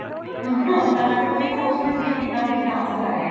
ਤਾਂ ਤੇ ਕੋਈ ਹੋਸ਼ ਹੀ ਨਹੀਂ ਹੋਂਦੀ ਕਿਦਾਂ ਕੋਈ dance ਕਰ ਰਹੀਆਂ